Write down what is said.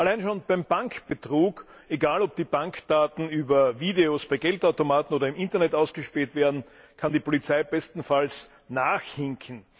Allein schon beim Bankbetrug egal, ob die Bankdaten über Videos, per Geldautomaten oder im Internet ausgespäht werden kann die Polizei bestenfalls nachhinken.